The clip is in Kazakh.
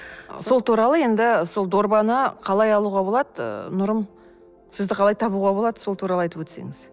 сол туралы енді сол дорбаны қалай алуға болады ы нұрым сізді қалай табуға болады сол туралы айтып өтсеңіз